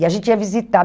E a gente ia visitar.